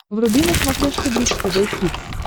вруби на смотрешке бридж тв хитс